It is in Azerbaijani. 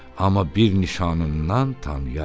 Amma bir nişanından tanıyarım.